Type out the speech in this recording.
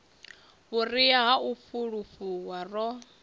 vhuria ha u fulufhuwa ro